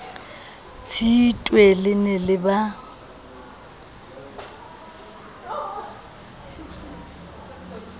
tshitwe le ne le ba